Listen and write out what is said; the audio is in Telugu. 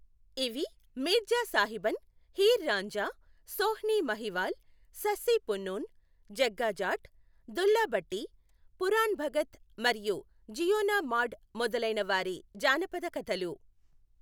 ఇవి మీర్జా సాహిబన్, హీర్ రాంజా, సోహ్ని మహివాల్, సస్సి పున్నూన్, జగ్గా జాట్, దుల్లా భట్టి, పురాణ్ భగత్ మరియు జియోనా మాడ్ మొదలైన వారి జానపద కథలు.